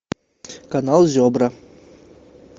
канал зебра